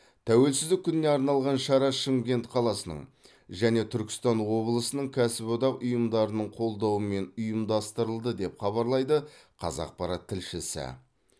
тәуелсіздік күніне арналған шара шымкент қаласының және түркістан облысының кәсіподақ ұйымдарының қолдауымен ұйымдастырылды деп хабарлайды қазақпарат тілшісі